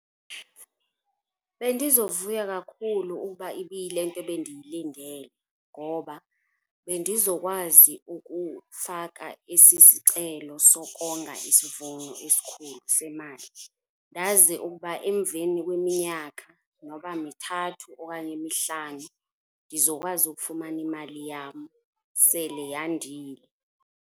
Bendizovuya kakhulu ukuba ibiyilento bendiyilindele ngoba bendizokwazi ukufaka esi sicelo sokonga isivuno esikhulu semali. Ndaze ukuba emveni kweminyaka, noba mithathu okanye mihlanu, ndizokwazi ukufamana imali yam sele yandile.